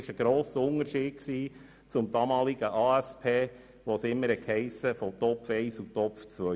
Dies ist ein grosser Unterschied gegenüber der damaligen ASP, wo immer von «Topf 1- und Topf 2-Massnahmen» die Rede war.